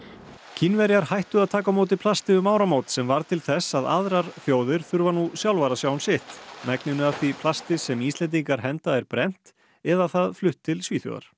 Kínverjar hættu að taka á móti plasti um áramót sem varð til þess að aðrar þjóðir þurfa nú sjálfar að sjá um sitt megninu af því plasti sem Íslendingar henda er brennt eða það flutt til Svíþjóðar